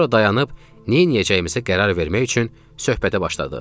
Sonra dayanıb neyləyəcəyimizə qərar vermək üçün söhbətə başladıq.